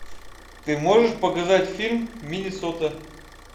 ты можешь показать фильм миннесота